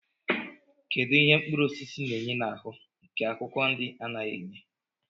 Kedụ ihe mkpụrụosisi na-enye n'ahụ nke akwụkwọ nri anaghị enye?